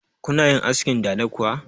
Kuna yin askin dada kuwa?